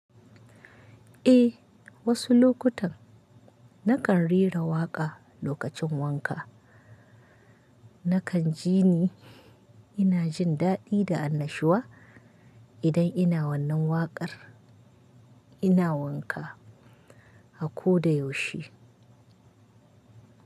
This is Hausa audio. Eh, wasu lokutan nakan rera waƙa lokacin wanka. Nakan jini ina jin daɗi da annashuwa idan ina wannan waƙar ina wanka a ko da yaushe.